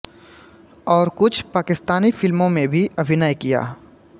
और कुछ पाकिस्तानी फिल्मों में भी अभिनय किया हैं